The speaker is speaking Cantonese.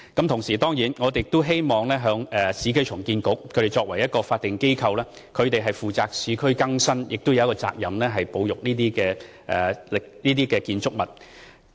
同時，我們當然亦希望市建局作為法定機構，負責市區更新之餘，也有責任保育這些建築物。